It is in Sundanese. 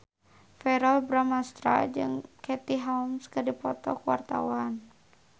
Verrell Bramastra jeung Katie Holmes keur dipoto ku wartawan